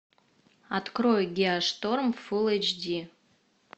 открой геошторм фул эйч ди